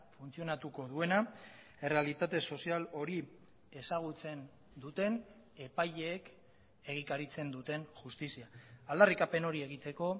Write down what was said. funtzionatuko duena errealitate sozial hori ezagutzen duten epaileek egikaritzen duten justizia aldarrikapen hori egiteko